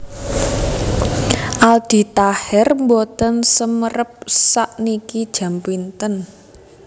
Aldi Taher mboten semerap sakniki jam pinten